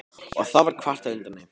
Og þá var kvartað undan þeim.